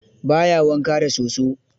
Ba ya wanka da soso.